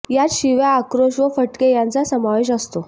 यात शिव्या आक्रोश व फटके यांचा सामावेश असतो